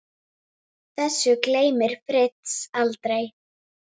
Þessu gleymir Fritz aldrei.